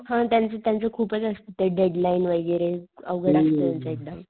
हा त्यांचं त्यांचं खूपच असत ते डेडलाइन वैगेरे अवघड त्यांचं एकदम